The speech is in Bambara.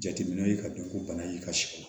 Jateminɛw ye ka dɔn ko bana y'i ka so kɔnɔ